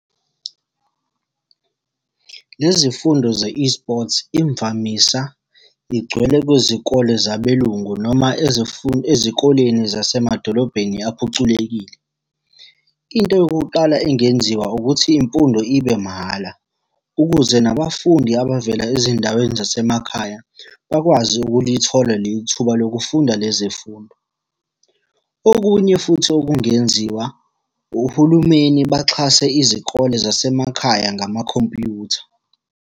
Lezi fundo ze-eSports, imvamisa igcwele kwizikole zabelungu noma ezikoleni zasemadolobheni aphuculekile. Into yokuqala engenziwa ukuthi imfundo ibe mahhala, ukuze nabafundi abavela ezindaweni zasemakhaya, bakwazi ukulithola leli thuba lokufunda lezi fundo. Okunye futhi okungenziwa, ohulumeni baxhase izikole zasemakhaya ngamakhompyutha.